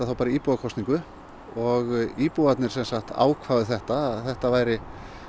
í íbúakosningu og íbúarnir ákváðu þetta að þetta væri